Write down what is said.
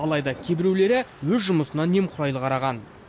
алайда кейбіреулері өз жұмысына немқұрайлы қараған